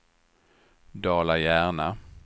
Dala-Järna